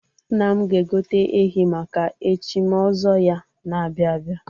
Nna m ga-egote ehi maka echim ọzọ ya na-abịa abịa.